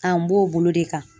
An, b'o bolo de kan.